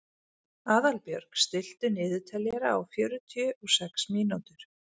Aðalbjörg, stilltu niðurteljara á fjörutíu og sex mínútur.